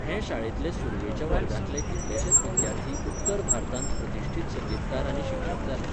हे शाळेंतले सुरवेच्या वर्गांतले कितलेशेच विद्यार्थी उत्तर भारतांत प्रतिश्ठीत संगीतकार आनी शिक्षक जाले.